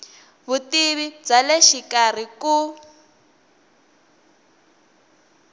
vutivi bya le xikarhi ku